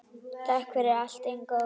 Takk fyrir allt, Ingó.